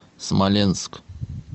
смоленск